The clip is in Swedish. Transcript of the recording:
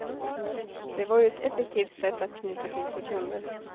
Det var ju ett effektivt sätt att knyta till sig kunder.